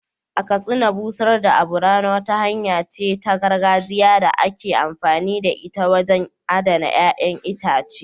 A Katsina, busar da abu rana wata hanya ce ta gargajiya da ake amfani da ita wajen adana ƴa'ƴan itace.